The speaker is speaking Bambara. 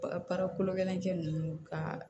Bara kolo gɛlɛn cɛ ninnu ka